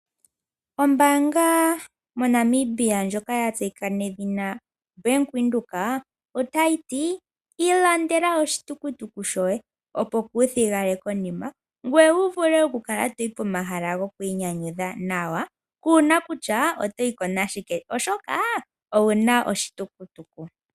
Ombaanga moNamibia ndjoka ya tseyika nedhina Bank Windhoek otayi ti: Ilandela oshitukutuku shoye ,opo kuuthigale konima ngoye wu vule okukala toyi pomahala gokwiinyanyudha nawa kuuna kutya oto yi ko nashike, oshoka owu na oshitukutuku.